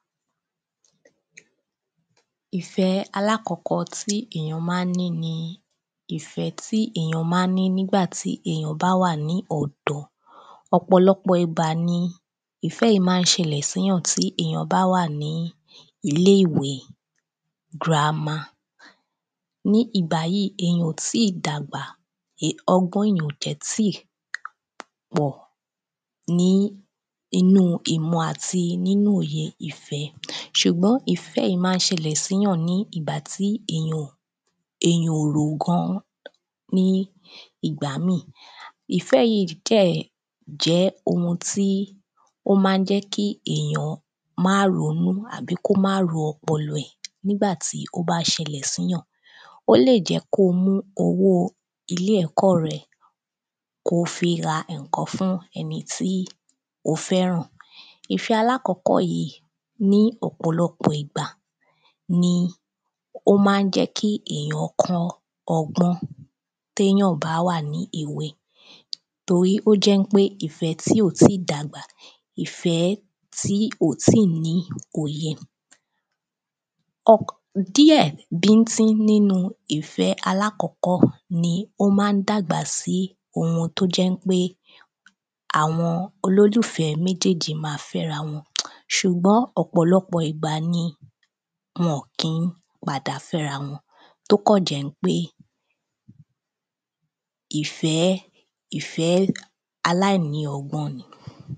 ìfẹ́ alákọ̀ọ́kọ́ tí èyàn ma ń ní ni ìfẹ́ tí èyàn ma ń ní tí èyàn bá wà ní ọ̀dọ́ ọ̀pọ̀lọpọ̀ ìgbà ni ìfẹ́ yìí ma ń ṣẹlẹ̀ sí èyàn tí èyàn bá wà ní ilé-ìwe girama ní ìgbà yìí, èyàn ò tíì dàgbà, ọgbọ́n èyàn ò dẹ̀ tíi pọ̀ ní inú ìmọ̀ àti nínu òye ìfẹ́ ṣùgbọ́n ìfẹ́ yìí ma ń ṣẹlẹ̀ sí èyàn ní ìgbà tí èyàn ò rò gan ní ìgbà míì ìfẹ́ yìí dẹ̀ jẹ́ ohun tí ó ma ń jẹ́ kí èyàn ma ń ronú tàbí ro ọpọlọ rẹ̀ ní ìgbà tí ó bá ṣẹlẹ̀ síyàn ó lè jẹ́ kó o mú owó ẹ̀kọ́ rẹ, kó o fi ra ǹkan fún ẹni tí o fẹ́ràn ìfẹ alákọ̀ọ́kọ̀ ní ọ̀pọ̀lọpọ̀ ìgbà ni ó ma ń jẹ́ kí èyàn kọ́ ọgbọ́n téyàn bá wà ní èwe torí ó jẹ́ pé ìfẹ́ tí ò ti dàgbà ni, ó jẹ́ pé ìfẹ́ tí ó ti ní òye ni díẹ̀ bíńtín nínu ìfẹ́ alákọ̀ọ́kọ́ ni ó jẹ́ pé ó máa dàgbà sí ohun tó jẹ́ ń pé àwọn olólùfẹ́ méjèèjì máa fẹ́ra wọn ṣùgbọ́n ọ̀pọ̀lọpọ̀ ìgbà ni wọ́n kìí padà fẹ́ra wọn tó kàn jẹ̀ ń pé ìfẹ́ aláìlọ́gbọ́n ni